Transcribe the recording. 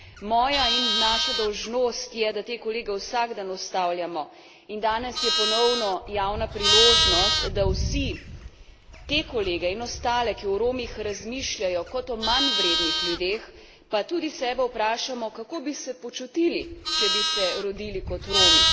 Moja in naša dolžnost je, da te kolege vsak dan ustavljamo, in danes je ponovno javna priložnost, da vsi te kolege in ostale, ki o Romih razmišljajo kot o manjvrednih ljudeh, pa tudi sebe, vprašamo, kako bi se počutili, če bi se rodili kot Romi.